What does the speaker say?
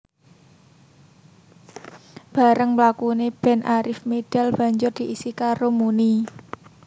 Barèng mlakune band Arif medal banjur diisi karo Muny